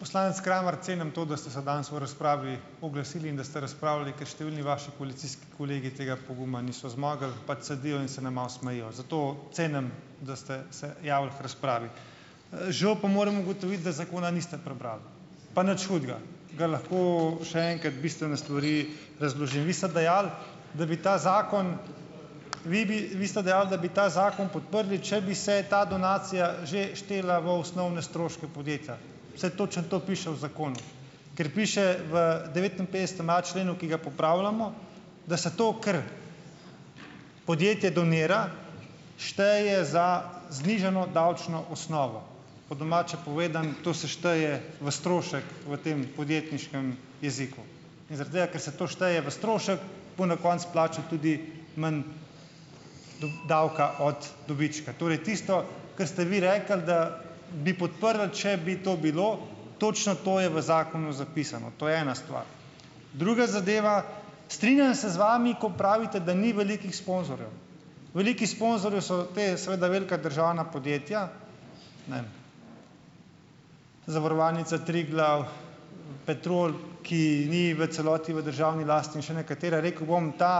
poslanec Kramar, cenim to, da ste se danes v razpravi oglasili in ste razpravljali, ker številni vaši policijski kolegi tega poguma niso zmogli, pač sedijo in se nam malo smejijo. Zato cenim, da ste se javili k razpravi. žal pa moram ugotoviti, da zakona niste prebrali. Pa nič hudega. Ga lahko še enkrat bistvene stvari razložim. Vi ste dejali, da bi ta zakon, vi bi, vi ste dejali, da bi ta zakon podprli, če bi se ta donacija že štela v osnovne stroške podjetja. Saj točno to piše v zakonu . Ker piše v devetinpetdesetem A členu, ki ga popravljamo, da se to, kar podjetje donira, šteje za znižano davčno osnovo. Po domače povedano , to se šteje v strošek v tem podjetniškem jeziku. In zaradi tega, ker se to šteje v strošek, bo na koncu plačal tudi manj davka od dobička. Torej tisto, ko ste vi rekli, da bi podprli, če bi to bilo. Točno to je v zakonu zapisano. To je ena stvar. Druga zadeva. Strinjam se z vami, ko pravite, da ni velikih sponzorjev. Velikih sponzorjev so ta, seveda, velika državna podjetja, ne vem, Zavarovalnica Triglav, Petrol, ki ni v celoti v državni lasti, in še nekatera, rekel bom, ta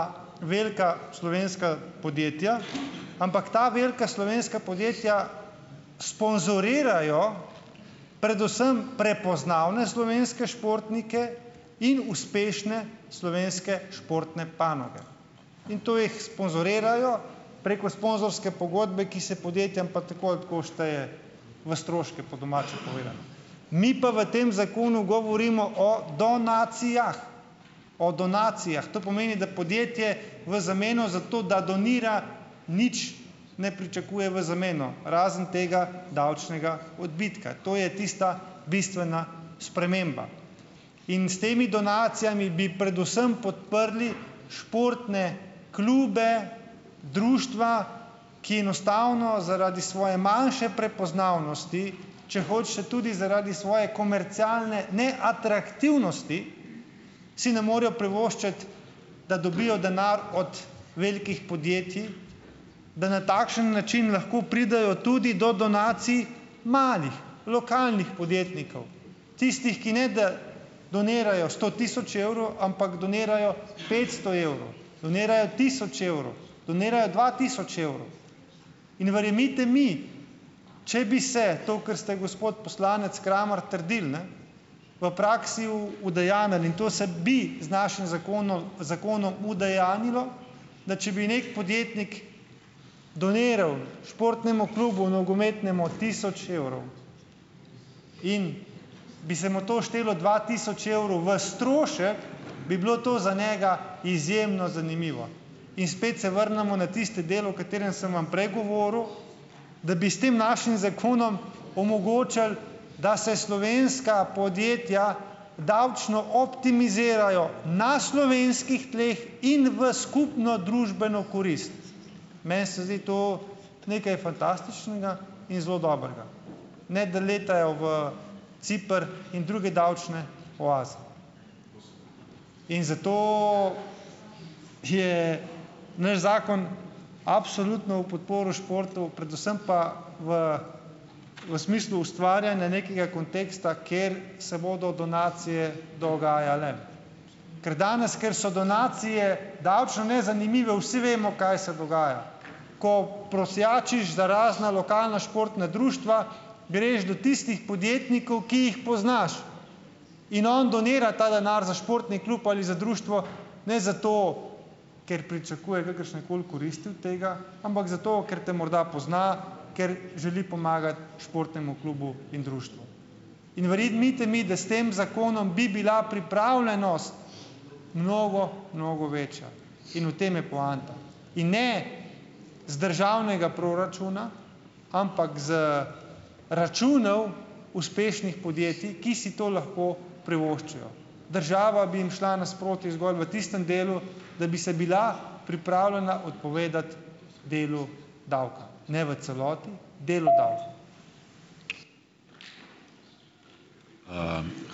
velika slovenska podjetja, ampak ta velika slovenska podjetja sponzorirajo predvsem prepoznavne slovenske športnike in uspešne slovenske športne panoge. In to jih sponzorirajo preko sponzorske pogodbe, ki se podjetjem pa tako ali tako šteje v stroške, po domače povedano . Mi pa v tem zakonu govorimo o donacijah. O donacijah. To pomeni, da podjetje v zameno zato, da donira, nič ne pričakuje v zameno. Razen tega davčnega odbitka. To je tista bistvena sprememba. In s temi donacijami bi predvsem podprli športne klube, društva, ki enostavno zaradi svoje manjše prepoznavnosti, če hočete, tudi zaradi svoje komercialne neatraktivnosti, si ne morejo privoščiti, da dobijo denar od velikih podjetji, da na takšen način lahko pridejo tudi do donacij malih, lokalnih podjetnikov. Tistih, ki ne da donirajo sto tisoč evrov, ampak donirajo petsto evrov . Donirajo tisoč evrov. Donirajo dva tisoč evrov. In verjemite mi, če bi se, to kar ste, gospod poslanec Kramar trdili, ne, v praksi udejanjilo, in to se bi z našim zakonom udejanjilo, da če bi neki podjetnik doniral športnemu klubu, nogometnemu tisoč evrov. In bi se mu to štelo dva tisoč evrov v strošek, bi bilo to za njega izjemno zanimivo. In spet se vrnemo na tisti del, o katerem sem vam prej govoril, da bi s tem našim zakonom omogočili, da se slovenska podjetja davčno optimizirajo na slovenskih tleh in v skupno družbeno korist. Meni se zdi to nekaj fantastičnega in zelo dobrega. Ne da letajo v Ciper in druge davčne oaze. In zato te naš zakon absolutno v podporo športu, predvsem pa v, v smislu ustvarjanja nekega konteksta, ker se bodo donacije dogajale. Ker danes, ker so donacije davčno nezanimive, vsi vemo, kaj se dogaja. Ko prosjačiš za razna lokalna športna društva, greš do tistih podjetnikov, ki jih poznaš. In on donira ta denar za športni klub ali za društvo, ne za to, ker pričakuje kakršne koli koristi od tega, ampak zato, ker te morda pozna, ker želi pomagati športnemu klubu in društvu. In verjemite mi, da s tem zakonom bi bila pripravljenost mnogo, mnogo večja. In v tem je poanta. In ne z državnega proračuna, ampak z računov uspešnih podjetij, ki si to lahko privoščijo. Država bi jim šla nasproti zgolj v tistem delu, da bi se bila pripravljena odpovedati delu davka. Ne v celoti. Delu davka .